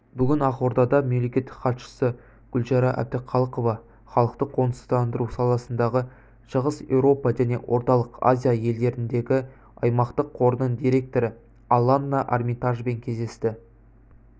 бүгін ақордада мемлекеттік хатшысы гүлшара әбдіқалықова халықты қоныстандыру саласындағы шығыс еуропа және орталық азия елдеріндегі аймақтық қорының директоры аланна армитажбен кездесті